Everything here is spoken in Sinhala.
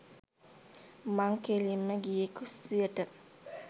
මං කෙළින්ම ගියේ කුස්සියට